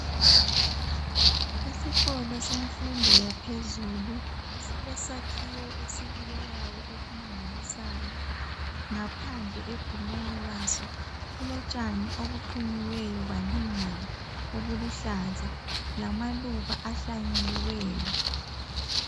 Isikolo sefundo yaphezulu silesakhiwa esibukekayo okumangalisayo ngaphandle egumeni laso kulotshani obuqunyiweyo balingana obuluhlaza lamaluba ahlanyeliweyo.